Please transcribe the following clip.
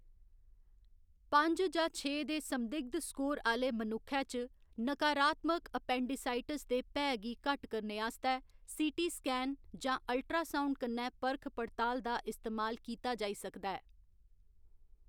पंज जां छे दे संदिग्ध स्कोर आह्‌‌‌ले मनुक्खै च, नकारात्मक एपेंडिसाइटिस दे भैऽ गी घट्ट करने आस्तै सी.टी. स्कैन जां अल्ट्रासाउंड कन्नै परख पड़ताल दा इस्तेमाल कीता जाई सकदा ऐ।